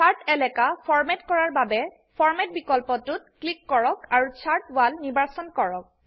shirt এলাকা format কৰাৰ বাবে ফৰমাত বিকল্পটোত ক্লিক কৰক আৰু চাৰ্ট ৱল নিৰ্বাচন কৰক